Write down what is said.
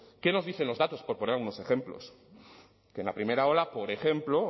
qué nos dicen los datos por poner unos ejemplos que en la primera ola por ejemplo